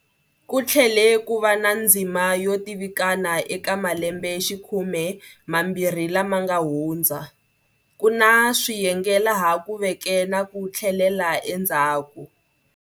Ku tlhele ku va na ndzima yo tivikana eka malembexikhume mambirhi lama nga hundza, ku na swiyenge laha ku veke na ku tlhelela endzhaku.